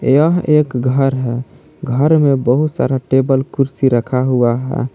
यह एक घर है घर में बहुत सारा टेबल कुर्सी रखा हुआ है।